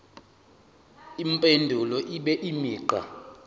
impendulo ibe imigqa